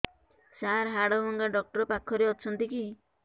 ସାର ହାଡଭଙ୍ଗା ଡକ୍ଟର ପାଖରେ ଅଛନ୍ତି କି